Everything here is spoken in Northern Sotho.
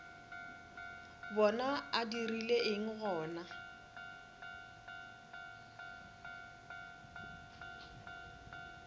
bona a dirile eng gona